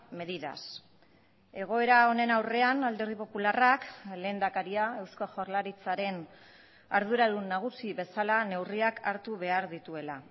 medidas egoera honen aurrean alderdi popularrak lehendakaria eusko jaurlaritzaren arduradun nagusi bezala neurriak hartu behar dituela